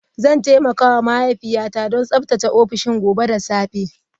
Zan taimaka wa mahaifiyata don tsaftace Ofishin gobe da safe.